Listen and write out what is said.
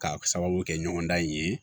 Ka sababu kɛ ɲɔgɔn dan in ye